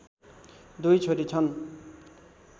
दुई छोरी छन्